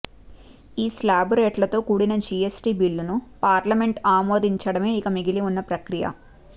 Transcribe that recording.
ఈ శ్లాబు రేట్లతో కూడిన జిఎస్టి బిల్లును పార్లమెంటు ఆమోదించటమే ఇక మిగిలిఉన్న ప్రక్రియ